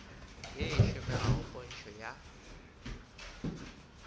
ye e šomegago pntšho ya